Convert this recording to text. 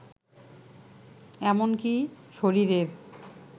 এমনকী শরীরের